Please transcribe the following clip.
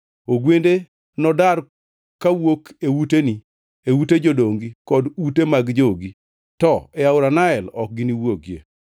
Ogwende nodar kawuok e uteni, e ute jodongi kod ute mag jogi; to e aora Nael ok giniwuogie.”